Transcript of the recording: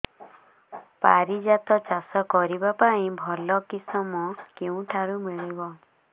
ପାରିଜାତ ଚାଷ କରିବା ପାଇଁ ଭଲ କିଶମ କେଉଁଠାରୁ ମିଳିବ